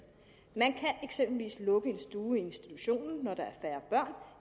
man kan eksempelvis lukke en stue i institutionen når der er færre